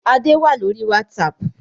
Adé wá lórí "WhatsApp"